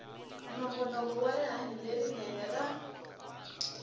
nongonoko wa rihanyo lerinene ra